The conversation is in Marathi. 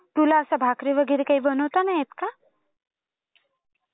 तुला असं भाकरी वगैरे काही बनवता नाही येत का?